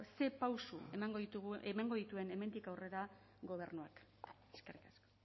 ze pauso emango dituen hemendik aurrera gobernuak eskerrik asko